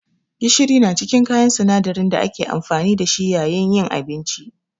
Gishiri na cikin kayan sinadarin da ake amfani da shi yayin yin abinci.